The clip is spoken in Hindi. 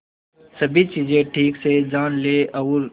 सभी चीजें ठीक से जान ले और